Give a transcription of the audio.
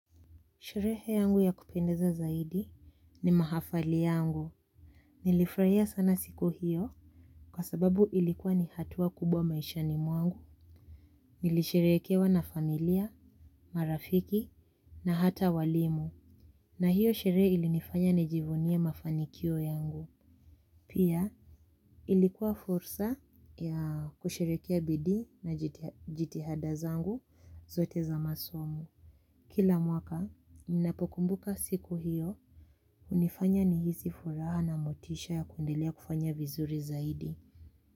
Sherehe yangu ya kupendeza zaidi ni mahafali yangu. Nilifraia sana siku hiyo kwa sababu ilikuwa ni hatua kubwa maishani mwangu. Nilisherekewa na familia, marafiki na hata walimu. Na hiyo sherehe ilinifanya nijivunie mafanikio yangu. Pia ilikuwa fursa ya kusherekea bidi na jitihada zangu zote za masomo. Kila mwaka minapokumbuka siku hiyo. Unifanya ni hizi furaha na motisha ya kuendelea kufanya vizuri zaidi.